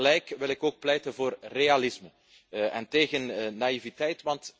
Tegelijk wil ik ook pleiten voor realisme en tegen naïviteit.